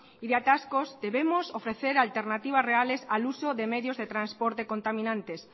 y de atascos debemosofrecer alternativas reales al uso de medios de transporte contaminantes